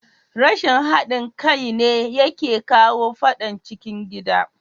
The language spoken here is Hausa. Rashin hadin kai ne yake kawo fadan cikin gida.